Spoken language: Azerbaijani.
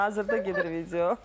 Baxın, hazırda gedir video.